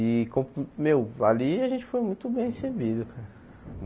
E, com co meu, ali a gente foi muito bem recebido.